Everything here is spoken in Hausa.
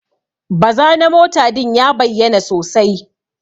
Baza na mota din ya bayyana sosai.